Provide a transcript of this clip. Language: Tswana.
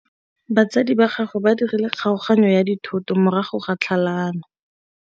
Batsadi ba gagwe ba dirile kgaoganyô ya dithoto morago ga tlhalanô.